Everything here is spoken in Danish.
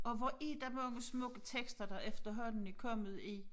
Og hvor er der mange smukke tekster der efterhånden er kommet i